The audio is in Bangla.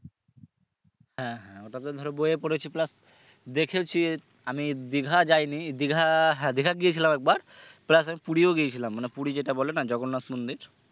হ্যাঁ ওটা ধরো বইয়ে পড়েছি plus দেখেওছি আমি দিঘা যাইনি দিঘা দিঘাত গিয়েছিলাম একবার plus আমি পুড়িও গেয়েছিলাম মানে পুড়ি যেটা বলে না জগন্নাথ মন্দির